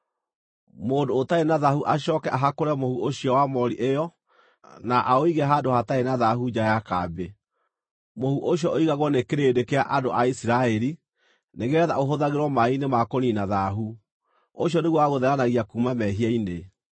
“Mũndũ ũtarĩ na thaahu acooke ahakũre mũhu ũcio wa moori ĩyo na aũige handũ hatarĩ na thaahu nja ya kambĩ. Mũhu ũcio ũigagwo nĩ kĩrĩndĩ kĩa andũ a Isiraeli, nĩgeetha ũhũthagĩrwo maaĩ-inĩ ma kũniina thaahu; ũcio nĩguo wa gũtheranagia kuuma mehia-inĩ.